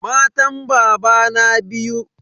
Matan babana biyu.